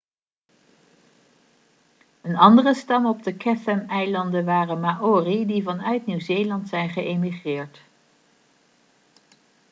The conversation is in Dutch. een andere stam op de cathameilanden waren maori die vanuit nieuw-zeeland zijn geëmigreerd